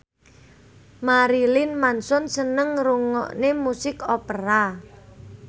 Marilyn Manson seneng ngrungokne musik opera